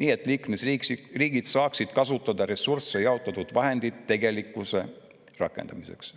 nii et liikmesriigid saaksid kasutada ressursse ja jaotatud vahendeid tegelikkuses rakendamiseks.